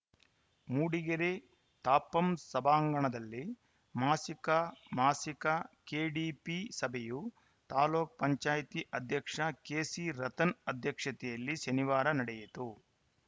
ಮೂಡಿಗೆರೆ ತಾಪಂ ಸಭಾಂಗಣದಲ್ಲಿ ಮಾಸಿಕ ಮಾಸಿಕ ಕೆಡಿಪಿ ಸಭೆಯು ತಾಲೂಕ್ ಪಂಚಾಯತ್ ಅಧ್ಯಕ್ಷ ಕೆಸಿರತನ್‌ ಅಧ್ಯಕ್ಷತೆಯಲ್ಲಿ ಶನಿವಾರ ನಡೆಯಿತು